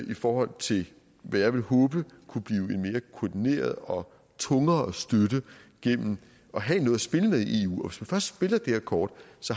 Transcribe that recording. i forhold til hvad jeg vil håbe kunne blive en mere koordineret og tungere støtte gennem at have noget at spille med i eu og først spiller det her kort